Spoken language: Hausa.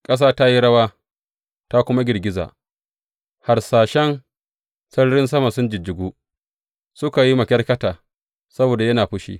Ƙasa ta yi rawa ta kuma girgiza, harsashan sararin sama sun jijjigu; suka yi makyarkyata saboda yana fushi.